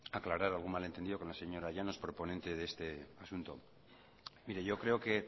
aclarar algún malentendido con la señora llanos proponente de este asunto mire yo creo que